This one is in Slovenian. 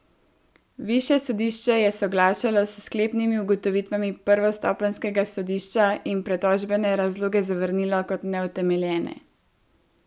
Višje sodišče je soglašalo s sklepnimi ugotovitvami prvostopenjskega sodišča in pritožbene razloge zavrnilo kot neutemeljene.